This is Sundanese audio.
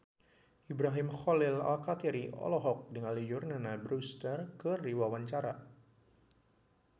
Ibrahim Khalil Alkatiri olohok ningali Jordana Brewster keur diwawancara